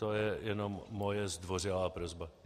To je jenom moje zdvořilá prosba.